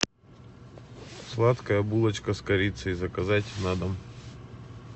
сладкая булочка с корицей заказать на дом